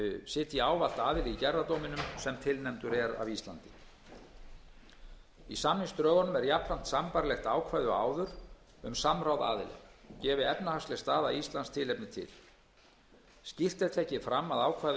sitji ávallt aðili í gerðardóminum sem tilnefndur er af íslandi í samningsdrögunum er jafnframt sambærilegt ákvæði og áður um samráð aðila gefi efnahagsleg staða á íslandi tilefni til skýrt er tekið fram að ákvæði um